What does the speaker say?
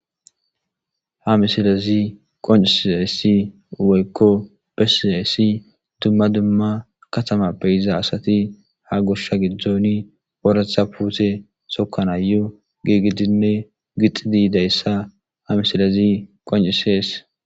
ha misilazi qoncisisayssi woykko besizayssi dumma dumma katama beyiza asati ha goshsha giddooni oratha puute sokanayo giigidinne gixidiidayssa ha misilazi qoncisees